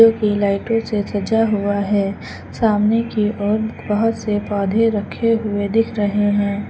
जो कि लाइटों हुआ है। सामने की ओर बहोत से पौधे रखे हुए दिख रहे हैं।